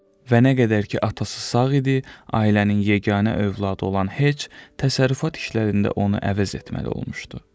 Və nə qədər ki atası sağ idi, ailənin yeganə övladı olan Heç təsərrüfat işlərində onu əvəz etməli olmuşdu.